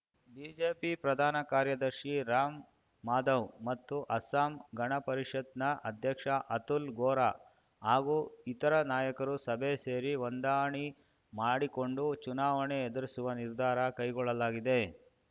BJP ಪ್ರಧಾನ ಕಾರ್ಯದರ್ಶಿ ರಾಮ್‌ಮಾಧವ್ ಮತ್ತು ಅಸ್ಸಾಂ ಗಣಪರಿಷತ್‌ನ ಅಧ್ಯಕ್ಷ ಅತುಲ್ ಗೋರ ಹಾಗೂ ಇತರ ನಾಯಕರು ಸಭೆ ಸೇರಿ ಹೊಂದಾಣಿ ಮಾಡಿಕೊಂಡು ಚುನಾವಣೆ ಎದುರಿಸುವ ನಿರ್ಧಾರ ಕೈಗೊಳ್ಳಲಾಗಿದೆ